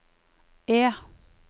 E